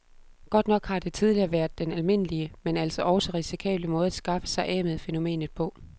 Godt nok har det tidligere været den almindelige, men altså også risikable måde at skaffe sig af med fænomenet på.